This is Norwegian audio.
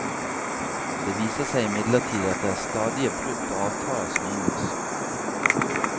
Det viser seg imidlertid at det er stadige brudd på avtaler som inngås.